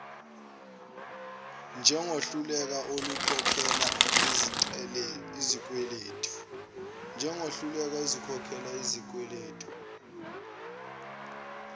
njengohluleka ukukhokhela izikweledu